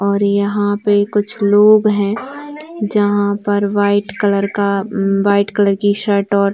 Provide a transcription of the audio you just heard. और यहाँ पे कुछ लोग है जहाँ पर वाइट कलर का उम्म वाइट कलर की शर्ट और--